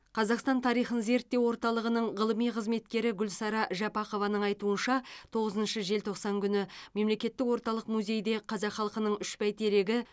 қазақстан тарихын зерттеу орталығының ғылыми қызметкері гүлсара жапақованың айтуынша тоғызыншы желтоқсан күні мемлекеттік орталық музейде қазақ халықының үш бәйтерегі